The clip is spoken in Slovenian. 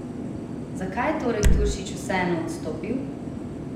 Zakaj je torej Turšič vseeno odstopil?